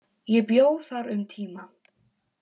Ég bjó þar um tíma.